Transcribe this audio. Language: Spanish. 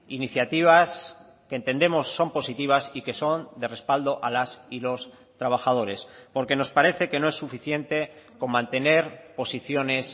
iniciativas que entendemos son positivas y que son de respaldo a las y los trabajadores porque nos parece que no es suficiente con mantener posiciones